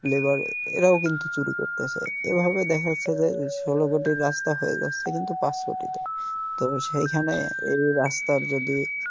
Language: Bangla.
labour এরাও কিন্তু চুরি করতেসে এভাবে দ্যাখা যাচ্ছে যে ষোলো কোটির রাস্তা হয়ে যাচ্ছে কিন্তু পাঁচ কোটি তে তো সেইখানে এই রাস্তার যদি